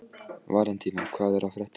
Valentína, hvað er að frétta?